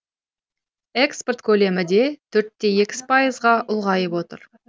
экспорт көлемі де төрт те екі пайызға ұлғайып отыр